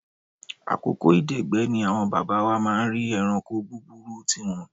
Àkókò ìdẹ̀gbẹ́ bí àwọn bàbá wa máa ń rí ẹranko búburú tí wọn.